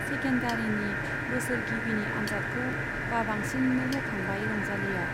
सेकेन्डारीनि बोसोरगिबिनि आनजादखौ बाबांसिननो होखांबाय रंजालीया।